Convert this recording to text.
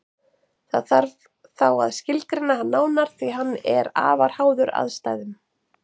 Þó þarf þá að skilgreina hann nánar því að hann er afar háður aðstæðum.